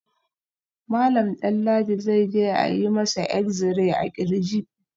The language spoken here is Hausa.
Malam Danladi zai je a yi masa exi-ray a kirji